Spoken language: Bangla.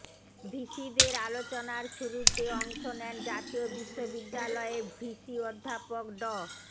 ভিসিদের আলোচনার শুরুতে অংশ নেন জাতীয় বিশ্ববিদ্যালয়ের ভিসি অধ্যাপক ড